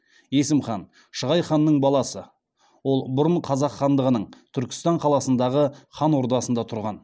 есім хан шығай ханның баласы ол бұрын қазақ хандығының түркістан қаласындағы хан ордасында тұрған